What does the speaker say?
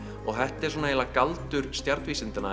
og þetta er svona eiginlega galdur